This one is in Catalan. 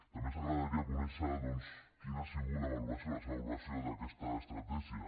també ens agradaria conèixer doncs quina ha sigut la valoració la seva valoració d’aquesta estratègia